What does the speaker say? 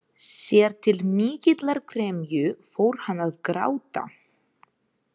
Sér til mikillar gremju fór hann að gráta.